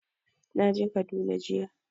Na je Kaduna jiya